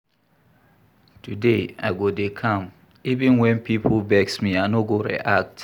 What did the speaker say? Today, I go dey calm even wen pipo vex me, I no go react.